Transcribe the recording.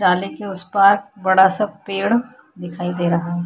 जाली के उस पार बड़ा -सा पेड़ दिखाई दे रहा हैं।